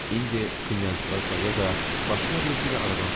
İndi knyazıqazla ya da başqa birisi ilə aradan çıxacaq.